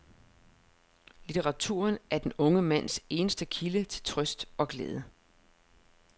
Litteraturen er den unge mands eneste kilde til trøst og glæde.